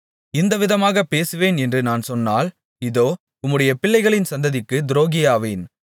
இந்த விதமாகப் பேசுவேன் என்று நான் சொன்னால் இதோ உம்முடைய பிள்ளைகளின் சந்ததிக்குத் துரோகியாவேன்